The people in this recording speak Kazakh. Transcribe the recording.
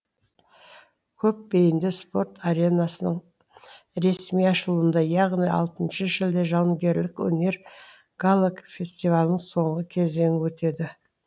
көп бейінді спорт аренасының ресми ашылуында яғни алтыншы шілде жауынгерлік өнер гала фестивалінің соңғы кезеңі өтеді